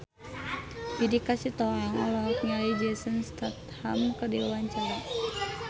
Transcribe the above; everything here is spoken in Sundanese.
Judika Sitohang olohok ningali Jason Statham keur diwawancara